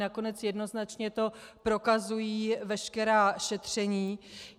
Nakonec jednoznačně to prokazují veškerá šetření.